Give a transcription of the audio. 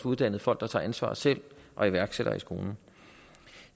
uddannet folk der tager ansvar selv og iværksættere i skolen